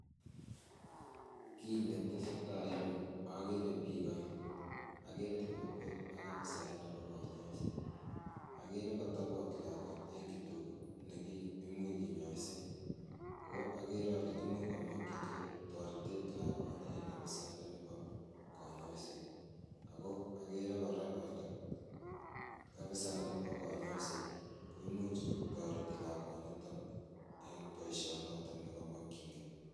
Kit netesetai en yuu okere biik oeng okere lakwet ak afisayat nebo konyoiset okere kotobot lakwet eng kitokit nekimuch kinyoisen ako akere ole imuch komokyingee toretet lakwani en ofisayat ndoni bo konyoisiet ako okere kora ole ofisayat ndoni bo konyoisiet koimuch kotoreti lakwaniton en boisionoton nekomoyin gee